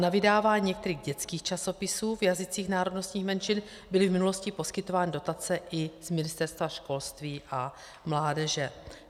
Na vydávání některých dětských časopisů v jazycích národnostních menšin byly v minulosti poskytovány dotace i z Ministerstva školství a mládeže.